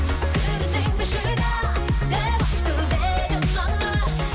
сүріндің бе шыда деп айтып еді мама